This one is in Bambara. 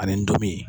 Ani n dimi